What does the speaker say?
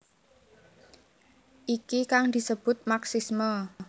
Iki kang disebut marxisme